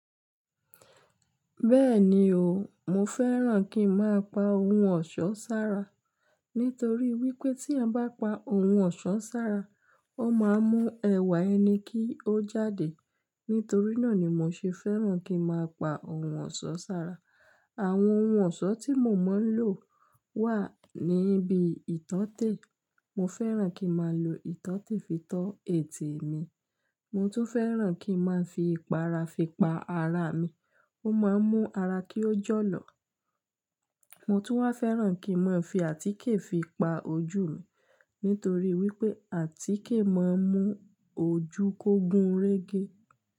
Bẹ́ẹ̀ni o, mo fẹ́ràn kí n máa pa ohun ọ̀ṣọ́ sára, nítorí wípé tí èyàn yàn bá pa ohun ọ̀ṣọ́ sára, ó máa mú ẹwà ẹni kí ó jáde. Nítorí náà ni mo ṣe fẹ́ràn kí n máa pa ohun ọ̀ṣọ́ sára. Àwọn ohun ọ̀ṣọ́ tí mo máa ń lò wà ní bi ìtọ́tè. Mo fẹ́ràn kí n máa lò ìtọ́tè fi to ẹ̀tẹ̀ mi. Mo tún fẹ́ràn kí n máa fi ìpara fi pa ara mi. Ó máa ń mú ara kí ó jọ́lọ̀. Mo tún wá fẹ́ràn kí n máa fi àtíkè fi pa ojú mi, nítorí wípé àtíkè máa ń mú ojú kó gún régé.